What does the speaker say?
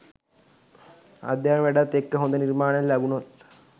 අධ්‍යාපන වැඩත් එක්ක හොඳ නිර්මාණයක් ලැබුණොත්